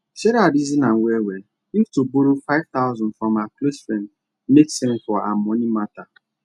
sarah reason am well well if to borrow five thousand from her close friend make sense for her money matter